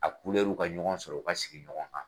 A kulɛriw ka ɲɔgɔn sɔrɔ u ka sigi ɲɔgɔn kan.